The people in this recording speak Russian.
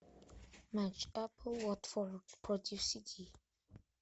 матч апл уотфорд против сити